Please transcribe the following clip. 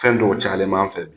Fɛn dɔw cayalen b'an fɛ bi.